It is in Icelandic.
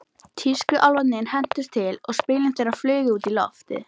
Tískuálfarnir hentust til og spilin þeirra flugu út í loftið.